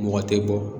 Mɔgɔ tɛ bɔ